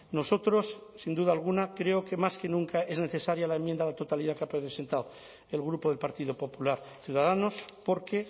nosotros sin duda alguna creo que más que nunca es necesaria la enmienda a la totalidad que ha presentado el grupo del partido popular ciudadanos porque